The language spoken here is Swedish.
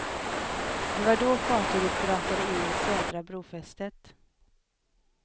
Det var då fartyget brakade in i södra brofästet.